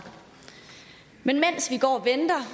men mens vi går og venter